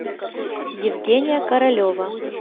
евгения королева